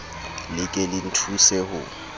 le ke le nthuse ho